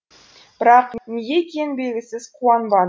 бірақ неге екені белгісіз қуанбад